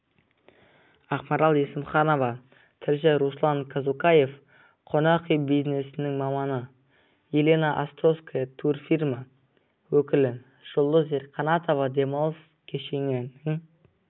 ақмарал есімханова тілші руслан казукаев қонақүй бизнесінің маманы елена островская турфирма өкілі жұлдыз ерқанатова демалыс кешенінің